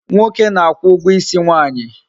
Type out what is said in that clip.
Nwoke na-akwu ugwo isi nwaanyi